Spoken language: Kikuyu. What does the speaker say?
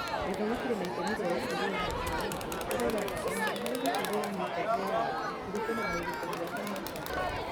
Gĩthomo kĩrĩ na itemi rĩa gũkũria ũhoti wa andũ ũrĩa ũrabatarania harĩ gũkũria mĩikarĩre ya andũ, kũringana na ũrutani wa human capital.